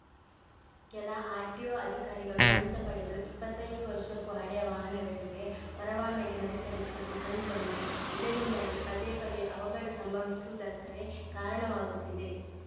ಕೆಲ ಆರ್‌ಟಿಒ ಅಧಿಕಾರಿಗಳು ಲಂಚ ಪಡೆದು ಇಪ್ಪತ್ತೈದು ವರ್ಷಕ್ಕೂ ಹಳೆಯ ವಾಹನಗಳಿಗೆ ಪರವಾನಗಿ ನವೀಕರಿಸುವುದು ಕಂಡುಬಂದಿದೆ ಇದರಿಂಗಾಗಿ ಪದೇ ಪದೇ ಅವಘಡ ಸಂಭವಿಸುವುದಕ್ಕೆ ಕಾರಣವಾಗುತ್ತಿದೆ